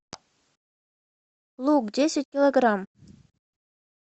лук десять килограмм